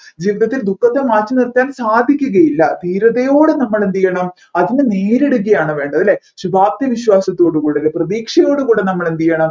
ജീവിതത്തിൽ ദുഃഖത്തെ മാറ്റിനിർത്താൻ സാധിക്കുകയില്ല ധീരതയോടെ നമ്മൾ എന്ത് ചെയ്യണം അതിനെ നേരിടുകയാണ് വേണ്ടത് അല്ലെ ശുഭാപ്തി വിശ്വാസത്തോടുകൂടെ അല്ലെ പ്രതീക്ഷയോടു കൂടെ നമ്മൾ എന്ത് ചെയ്യണം